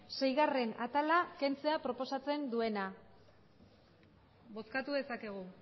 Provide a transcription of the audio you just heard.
seigarrena atala kentzea proposatzen duena bozkatu dezakegu